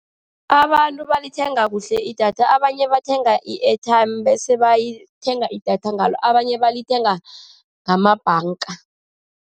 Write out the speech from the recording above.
Abantu balithenga kuhle idatha, abanye bathenga i-airtime bese bathenga idatha ngalo, abanye balithenga namabhanga.